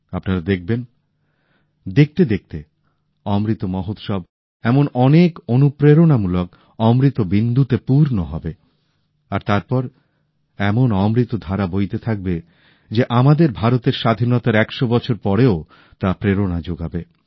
আপনারা দেখবেন দেখতে দেখতে অমৃত মহোৎসব এমন অনেক অনুপ্রেরণামূলক অমৃত বিন্দুতে পূর্ণ হবে আর তারপর এমন অমৃত ধারা বইতে থাকবে যে আমাদের ভারতের স্বাধীনতার একশ বছর পরেও তা প্রেরণা যোগাবে